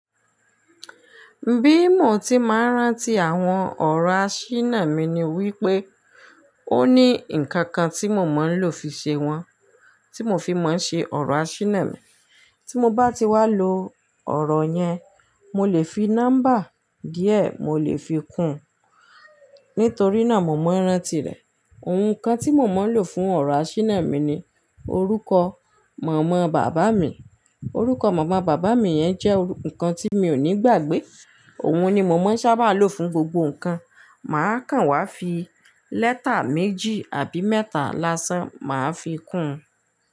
Bí mo ti máa ń rántí àwọn ọ̀rọ̀ àṣínà mi ni wípé ó ní nǹkan kan tí mo máa ń lò fi ṣe wọ́n, tí mo fi máa ń ṣe ọ̀rọ̀ àṣínà mi. Tí mo bá ti wá lo ọ̀rọ̀ yẹn, mo lè fi nọ́mbà díẹ̀ mo lè fi kún un. Nítorí náà mo máa ń rántí rẹ̀. Òhun kan tí mo máa ń lò fún ọ̀rọ̀ àṣínà mi ni orúkọ mọ̀ọ́mọ̀ bàbá mi. Orúkọ mọ̀ọ́mọ̀ bàbá mi yẹn jẹ́ ǹkan tí mi ò ní gbàgbé. Òun ni mo máa ń sábà lò fún gbogbo nǹkan. Máa kàn wá fi lẹ́tà méjì àbí mẹ́ta lásán, màá fi kún un.